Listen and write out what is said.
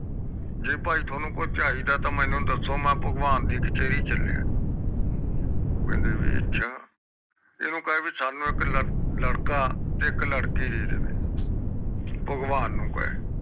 ਜੇ ਭਾਈ ਤੈਨੂੰ ਕੁਜ ਚਾਹੀਦਾ ਸਾਨੂ ਦਸੋ ਮੈਂ ਭਗਵਾਨ ਦੇ ਕਚਰੇ ਚਲਿਆ ਕਹਿੰਦੀ ਵੀ ਅੱਛਾ ਇਹਨੂੰ ਬੋਲੋ ਵੀ ਸਾਨੂ ਇਕ ਲੜਕਾ ਤੇ ਇਕ ਲੜਕੀ ਦੇ ਦੇਵੇ ਭਗਵਾਨ ਨੂੰ ਕਾਵੇ